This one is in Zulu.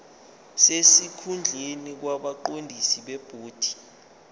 sesikhundleni kwabaqondisi bebhodi